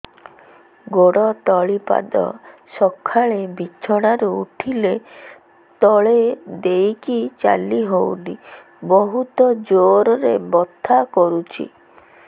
ଗୋଡ ତଳି ପାଦ ସକାଳେ ବିଛଣା ରୁ ଉଠିଲେ ତଳେ ଦେଇକି ଚାଲିହଉନି ବହୁତ ଜୋର ରେ ବଥା କରୁଛି